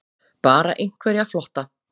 Bara einhverja flotta